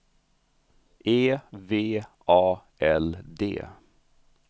E V A L D